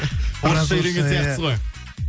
орысша үйренген сияқтысыз ғой